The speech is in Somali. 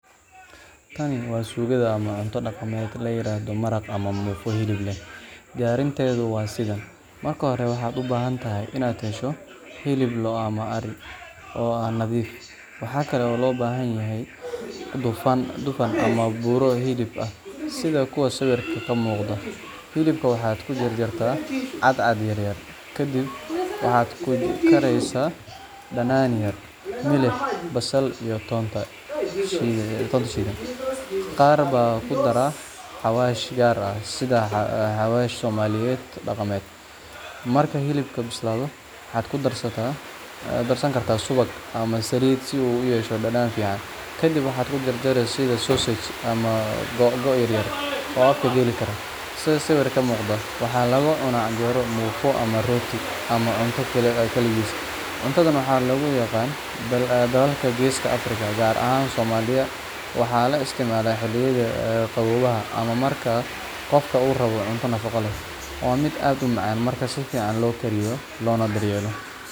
Haa, tan waa suugada ama cunto dhaqameed la yiraahdo maraq ama muufo hilib leh. Diyaarinteedu waa sidan: Marka hore waxaad u baahan tahay inaad hesho hilib lo’ ama ari ah oo nadiif ah. Waxa kale oo loo baahan yahay dufan ama buuro hilib ah, sida kuwa sawirka ka muuqda. Hilibka waxaad ku jarjartaa cadcad yaryar kadibna waxaad ku karsaysaa dhanaan yar, milix, basal, iyo toonta shiidan. Qaar baa ku dara xawaash gaar ah sida xawaash Soomaaliyeedka dhaqameed. Marka hilibku bislaado, waxaad ku darsan kartaa subag ama saliid si uu u yeesho dhadhan fiican. Ka dib waxaad u jarjari sida sausages ama googo’ yaryar oo afka geli kara, sida sawirka ka muuqata. Waxaa lagu cunaa canjeero, muufo, ama rooti, ama xataa keligiis. Cuntadan waxaa lagu yaqaan dalalka Geeska Afrika, gaar ahaan Soomaaliya, waxaana loo isticmaalaa xilliyada qaboobaha ama marka qofka uu rabo cunto nafaqo leh. Waa mid aad u macaan marka si fiican loo kariyo loona daryeelo.